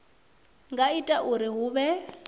nga ita uri hu vhe